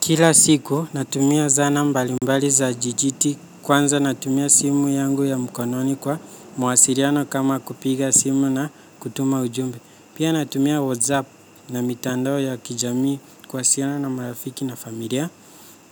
Kila siku, natumia zana mbalimbali za jijiti kwanza natumia simu yangu ya mkononi kwa mawasiliano kama kupiga simu na kutuma ujumbe. Pia natumia whatsapp na mitandoo ya kijami kuwasiliana na marafiki na familia.